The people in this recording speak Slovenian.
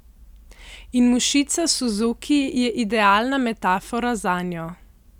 In mušica suzuki je idealna metafora zanjo.